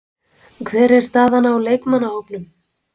Hver er staðan á leikmannahópnum?